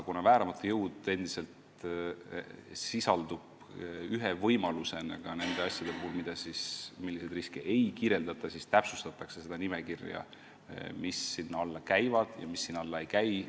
Kuna vääramatu jõud sisaldub praegu ühe võimalusena nende asjade hulgas, millega seotud kahju ei kaeta, siis täpsustatakse seda riske kirjeldavat nimekirja, mis sinna alla käivad ja mis sinna alla ei käi.